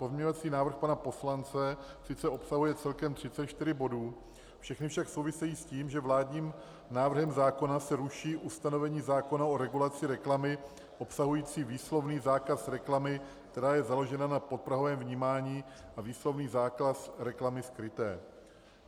Pozměňovací návrh pana poslance sice obsahuje celkem 34 bodů, všechny však souvisejí s tím, že vládním návrhem zákona se ruší ustanovení zákona o regulaci reklamy obsahující výslovný zákaz reklamy, která je založena na podprahovém vnímání, a výslovný zákaz reklamy skryté.